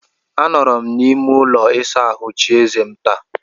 Anọrọ m n'ime ụlọ ịsa ahụ chie eze m taa.